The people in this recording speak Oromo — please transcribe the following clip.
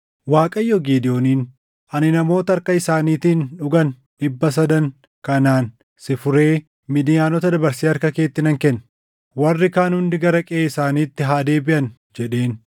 Waaqayyo Gidewooniin, “Ani namoota harka isaaniitiin dhugan dhibba sadan kanaan si furee Midiyaanota dabarsee harka keetti nan kenna. Warri kaan hundi gara qeʼee isaaniitti haa deebiʼan” jedheen.